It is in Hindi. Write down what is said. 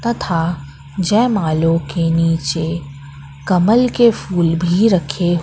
तथा जयमालों के नीचे कमल के फूल भी रखे--